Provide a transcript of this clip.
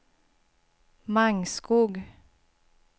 Mangskog